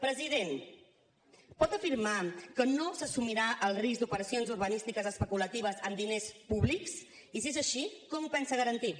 president pot afirmar que no s’assumirà el risc d’operacions urbanístiques especulatives amb diners públics i si és així com ho pensa garantir